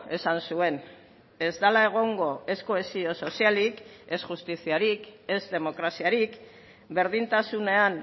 esan zuen ez dela egongo ez kohesio sozialik ez justiziarik ez demokraziarik berdintasunean